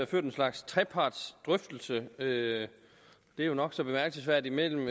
ført en slags trepartsdrøftelse det er jo nok så bemærkelsesværdigt mellem